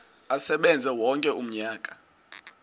asebenze wonke umnyaka